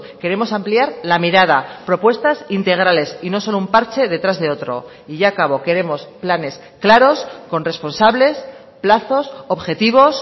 queremos ampliar la mirada propuestas integrales y no solo un parche detrás de otro y ya acabo queremos planes claros con responsables plazos objetivos